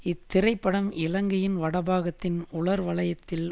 இத்திரைப்படம் இலங்கையின் வடபாகத்தின் உலர் வலயத்தில்